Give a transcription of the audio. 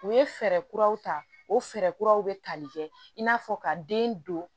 U ye fɛɛrɛ kuraw ta o fɛɛrɛ kuraw bɛ tali kɛ in n'a fɔ ka den don